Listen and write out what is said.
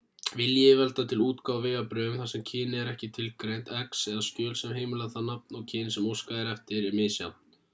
vilji yfirvalda til útgáfu á vegabréfum þar sem kynið er ekki tilgreint x eða skjöl sem heimila það nafn og kyn sem óskað er eftir er misjafn